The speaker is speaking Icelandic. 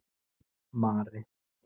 Mari